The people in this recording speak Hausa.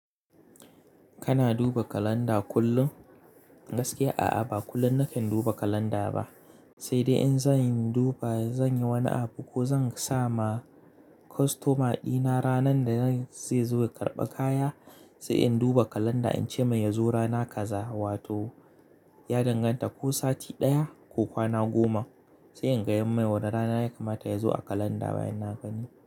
Kana duba kalanda kullum? Gaskiya a'a, ba kullum nakan duba kalanda ba, sai dai in zan yi duba, zan yi wani abu ko zan sa ma kostoma dina ranar da zai zo ya karɓi kaya, sai in duba kalanda in ce mai ya zo rana kaza wato ya danganta ko sati ɗaya ko kwana goma. Sai in gaya mai wane rana ya kamata ya zo a kalanda bayan na gani.